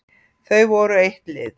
Þau voru eitt lið.